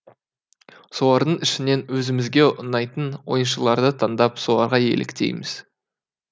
солардың ішінен өзімізге ұнайтын ойыншыларды таңдап соларға еліктейміз